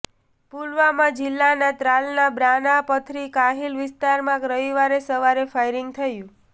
પુલવામા જિલ્લાના ત્રાલના બ્રાનાપથરી કાહિલ વિસ્તારમાં રવિવાર સવારે ફાયરિંગ થયું